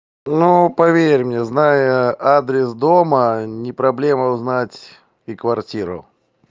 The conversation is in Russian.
ну поверь мне зная адрес дома не проблема узнать и квартиру